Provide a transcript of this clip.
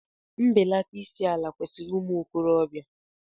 Mbelata isi ala kwesịrị ụmụ okorobịa.